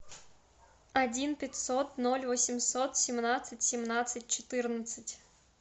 один пятьсот ноль восемьсот семнадцать семнадцать четырнадцать